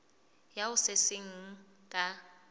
ya ho se seng ka